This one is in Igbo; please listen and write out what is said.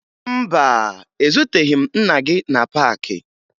Mba, ezuteghi m nna gị na paakị